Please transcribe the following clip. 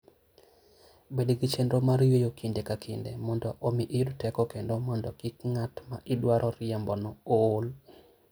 Bed gi chenro mar yueyo kinde ka kinde, mondo omi iyud teko kendo mondo kik ng'at ma idwaro riembono ool.